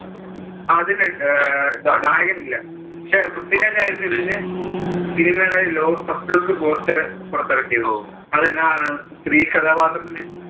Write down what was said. അതിനു അഹ് നായകൻ ഇല്ല പക്ഷെ പൃഥ്വിരാജ് ആയിരുന്നു ഇതിന്‍റെ cinema logo first look poster പുറത്തിറക്കിയത്. അതില് സ്ത്രീ കഥാപാത്രത്തിന്